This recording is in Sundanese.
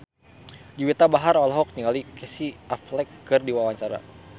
Juwita Bahar olohok ningali Casey Affleck keur diwawancara